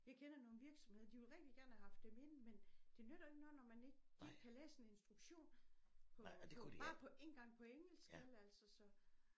Jeg kender nogle virksomheder de ville rigtig gerne have haft dem ind men det nytter jo ikke noget når man ikke de ikke kan læse en instruktion på på bare på ikke engang på engelsk vel altså så